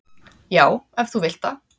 """Já, ef þú vilt það."""